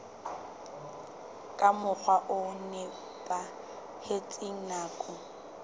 ka mokgwa o nepahetseng nakong